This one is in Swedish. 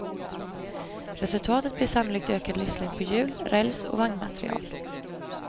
Resultatet blir sannolikt ökad livslängd på hjul, räls och vagnmateriel.